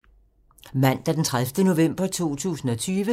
Mandag d. 30. november 2020